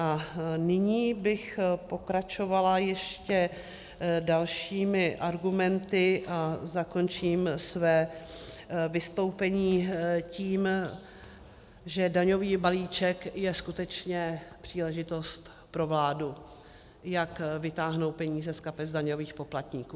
A nyní bych pokračovala ještě dalšími argumenty a zakončím své vystoupení tím, že daňový balíček je skutečně příležitost pro vládu, jak vytáhnout peníze z kapes daňových poplatníků.